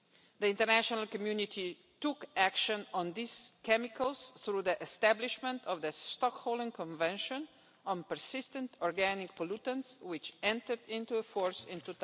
The international community took action on these chemicals through the establishment of the Stockholm Convention on Persistent Organic Pollutants, which entered into force in